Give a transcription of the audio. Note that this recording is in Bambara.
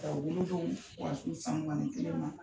U Wolo don fo ka s'uw san mugan ni kelen ma.